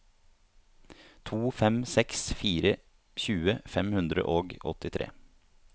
to fem seks fire tjue fem hundre og åttitre